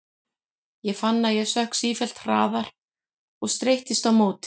Ég fann að ég sökk sífellt hraðar og streittist á móti.